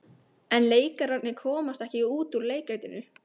En leikararnir komast ekki út úr leikritinu.